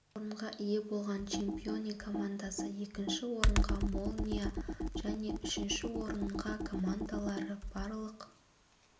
бірінші орынға ие болған чемпионы командасы екінші орынға молния және үшінші орынға командалары барлық